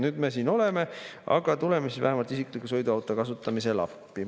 Nüüd me siin oleme, aga tuleme siis vähemalt isikliku sõiduauto kasutamisel appi.